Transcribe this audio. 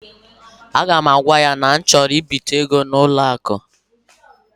A ga m agwa ya na m chọrọ ibite ego n'ụlọ akụ ha.